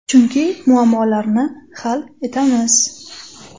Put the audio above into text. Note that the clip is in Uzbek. Chunki muammolarni hal etamiz.